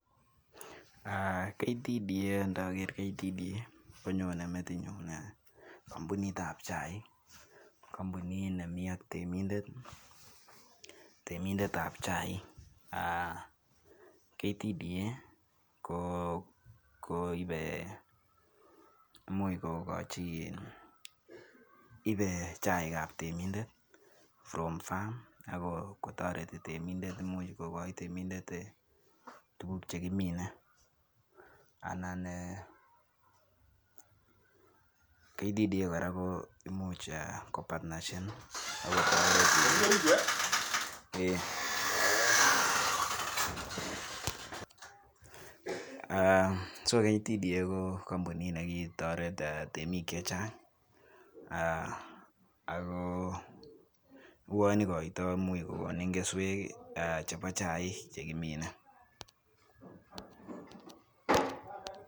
Indokeer ktda konyone metinyun kompunit ab chaik. Kompunit nemi ak temindet, ab chaik Ktda ko ibe imuch kokochi anan ibe chaik ab temindet from farm ako toretii temindet. Imuch kokochi temindet tuguuk chekiminee. Anan e ktda kora KO kompunit nekitoret e temik chechang ako uonimuch kokonii keswek I chebo chaik chekimine.